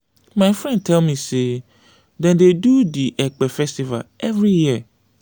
my friend tell me sey dem dey do di ekpe festival every year.